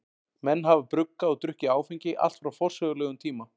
Menn hafa bruggað og drukkið áfengi allt frá forsögulegum tíma.